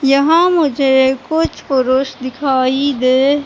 यहाँ मुझे कुछ पुरुष दिखाई दे--